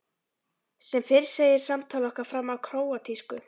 Sem fyrr segir fer samtal okkar fram á króatísku.